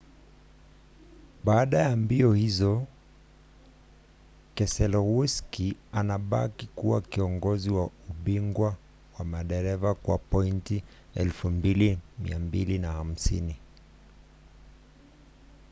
baada ya mbio hizo keselowski anabaki kuwa kiongozi wa ubingwa wa madereva kwa pointi 2,250